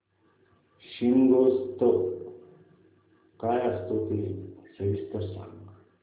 शिमगोत्सव काय असतो ते सविस्तर सांग